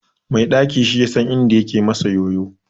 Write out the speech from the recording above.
Mai ɗaki shi yasan inda yake masa yoyo.